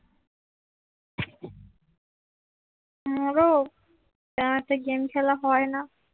মরণ তা রাতে গেম খেলা হয়না